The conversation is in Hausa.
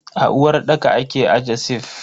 A uwarɗaka ake aje sif.